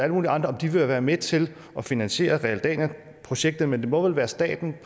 mulige andre om de vil være med til at finansiere projektet men det må vel være staten